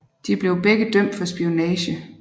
De blev begge dømt for spionage